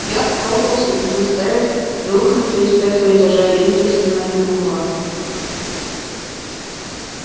я пробовала себе представить рухнувшие с пятого этажа индексы но не могла